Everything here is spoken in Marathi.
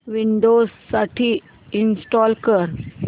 विंडोझ साठी इंस्टॉल कर